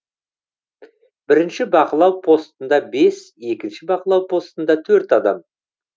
бірінші бақылау постында бес екінші бақылау постында төрт адам